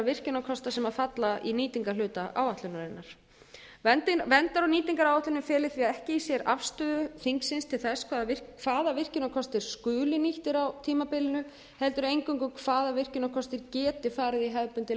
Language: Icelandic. virkjunarkosta sem falla í nýtingarhluta áætlunarinnar verndar og nýtingaráætlunin feli því ekki í sér afstöðu þingsins til þess hvaða virkjunarkostir skuli nýttir á tímabilinu heldur eingöngu hvaða virkjunarkostir geti farið í hefðbundið